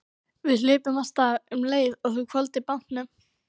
Við hlupum af stað um leið og þú hvolfdir bátnum.